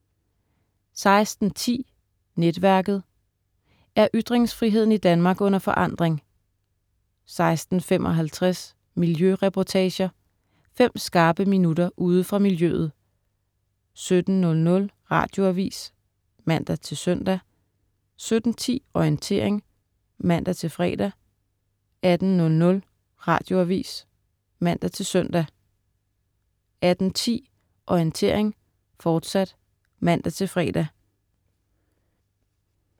16.10 Netværket. Er ytringsfriheden i Danmark under forandring? 16.55 Miljøreportager. Fem skarpe minutter ude fra miljøet 17.00 Radioavis (man-søn) 17.10 Orientering (man-fre) 18.00 Radioavis (man-søn) 18.10 Orientering, fortsat (man-fre)